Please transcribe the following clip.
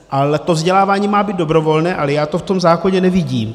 Ale to vzdělávání má být dobrovolné, ale já to v tom zákoně nevidím.